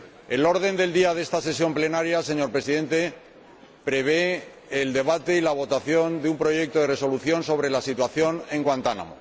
El orden del día de esta sesión plenaria, señor Presidente, prevé el debate y la votación de una propuesta de Resolución sobre la situación en Guantánamo.